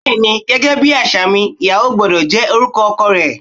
Bẹ́ẹ́ni gẹgẹ bi aṣa mi, íyàwò gbọdọ jẹ orukọ ọkọ rẹ